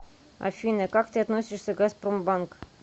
афина как ты относишься к газпромбанк